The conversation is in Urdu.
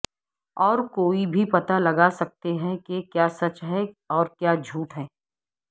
اور کوئی بھی پتہ لگا سکتے ہیں کہ کیا سچ ہے اور کیا جھوٹ ہے